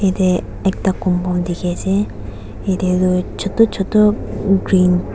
yete toh ekta compound dekhi ase yeti toh chotu chotu green .